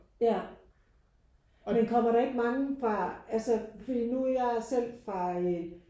Ja men kommer der ikke mange fra altså fordi nu er jo jeg selv fra